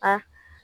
A